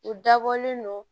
U dabɔlen don